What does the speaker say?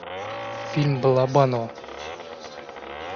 фильм балабанова